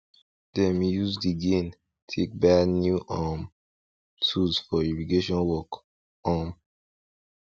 dem use de gain take buy new um tools for irrigation work um